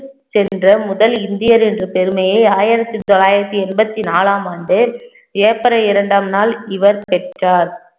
சென்ற முதல் இந்தியர் என்ற பெருமையை ஆயிரத்தி தொள்ளாயிரத்தி எண்பத்தி நாலாம் ஆண்டு ஏப்ரல் இரண்டாம் நாள் இவர் பெற்றார்